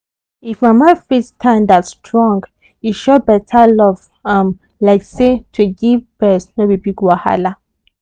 if mama fit standa strong e show better love um like say to give breast no be big wahala.